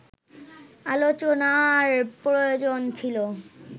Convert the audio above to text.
আলোচনার প্রয়োজন ছিল